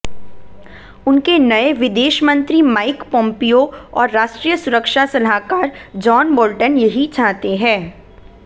उनके नए विदेश मंत्री माइक पोंपियो और राष्ट्रीय सुरक्षा सलाहकार जॉन बोल्टन यही चाहते हैं